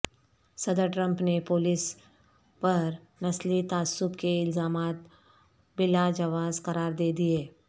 صدر ٹرمپ نے پولیس پر نسلی تعصب کے الزامات بلاجواز قرار دے دیے